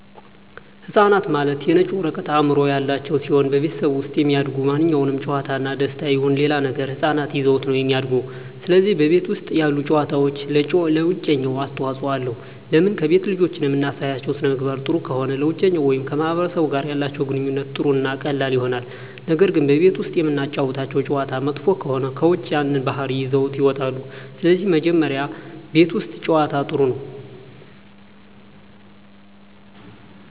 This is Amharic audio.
ህፃናት ማለት የነጭ ወረቀት አዕምሮ ያላቸው ሲሆን በቤተሠብ ውስጥ የሚደሰጉ ማንኛውም ጨዋታ እና ደስታ ይሁን ሌላ ነገር ህፃናት ይዘውት ነው እሚድጉ ስለዚህ በቤት ውስጥ ያሉ ጨዋታዎች ለውጨኛው አስተዋፅኦ አለው ለምን ከቤት ልጆችን እምናሳያቸው ሥነምግባር ጥሩ ከሆነ ለውጨኛው ወይም ከማህበረሰቡ ጋር ያላቸው ግንኙነት ጥሩ እና ቀላል ይሆናል ነገር ግን ቤት ውስጥ እምናጫውታቸው ጨዋታ መጥፎ ከሆነ ከውጭ ያን ባህሪ ይዘውት ይወጣሉ ስለዚህ መጀመሪ ቤት ውስት ጨዋታ ጥሩ ነው